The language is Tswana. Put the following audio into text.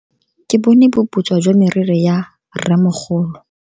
Ke bone boputswa jwa meriri ya rremogolo.